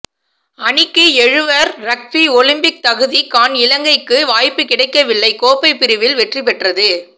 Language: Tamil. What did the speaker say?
அணிக்கு எழுவர் றக்பி ஒலிம்பிக் தகுதிகாண் இலங்கைக்கு வாய்ப்பு கிடைக்கவில்லை கோப்பை பிரிவில் வெற்றிபெற்றது